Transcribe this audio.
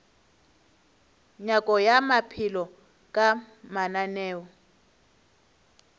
nyako ya maphelo ka mananeo